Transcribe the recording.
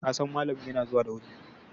kasan malamin yana zuwa da wuri!